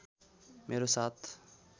मेरो साथ